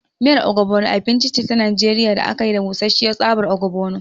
Miyar Ogbono abinci ce ta Najeriya da aka yi da busasshiyar tsabar ogbono.